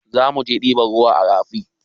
Zamuje ɗiban ruwa a rafi